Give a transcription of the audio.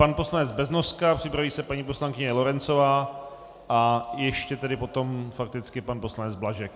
Pan poslanec Beznoska, připraví se paní poslankyně Lorencová a ještě tedy potom fakticky pan poslanec Blažek.